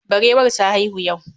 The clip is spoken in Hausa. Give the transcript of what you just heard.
Barewar ta haihu yau